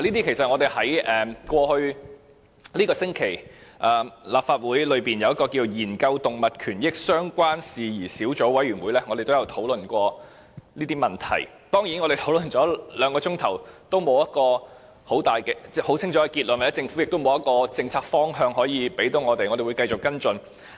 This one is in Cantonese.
事實上，在這個星期，立法會的研究動物權益相關事宜小組委員會亦曾討論這些問題，但兩個小時的討論卻沒有很清楚的結論，而政府亦沒有指出其政策方向讓我們繼續跟進。